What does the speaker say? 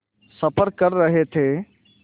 सफ़र कर रहे थे